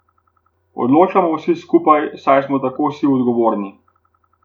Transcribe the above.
Odločamo vsi skupaj, saj smo tako vsi odgovorni.